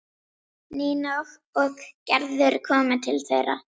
Nína og Gerður komu til þeirra.